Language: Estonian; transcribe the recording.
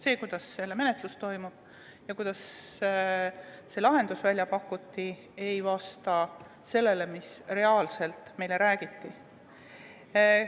See, kuidas selle menetlus toimub ja kuidas lahendus välja pakuti, ei vasta sellele, mida meile tegelikult räägiti.